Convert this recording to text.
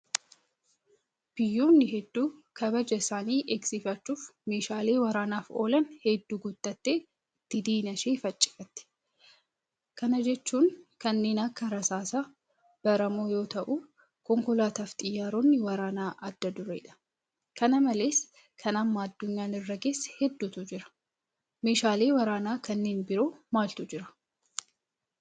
Biyyoonni hedduu kabaja isaanii eegsifachuuf meeshaalee waraanaaf oolan hedduu guuttattee ittiin diina ishee faccifatti. Kana jechuun kanneen akka rasaasaa baramoo yoota'u konkolaataafi xiyyaaronni waraanaa adda dureedha. Kana malees kan amma addunyaan irra geesse hedduutu jira. Meeshaalee waraanaa kanneen biroo maaltu jira?